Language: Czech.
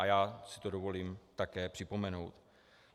A já si to dovolím také připomenout.